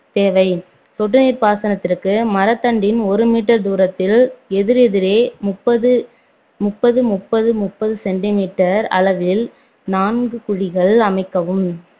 தேவை சொட்டு நீர் பாசனத்திற்கு மரத் தண்டின் ஒன்று meter தூரத்தில் எதிர் எதிரே முப்பது முப்பது முப்பது முப்பது centimeter அளவில் நான்கு குழிகள் அமைக்கவும்